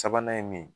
Sabanan ye mun ye